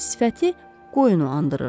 sifəti qoyunu andırırdı.